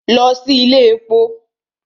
Lọ sí ilé èpo!